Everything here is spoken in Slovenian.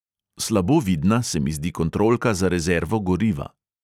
Slabo vidna se mi zdi kontrolka za rezervo goriva.